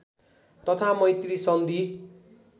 तथा मैत्री सन्धि